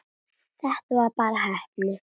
Þetta var bara heppni.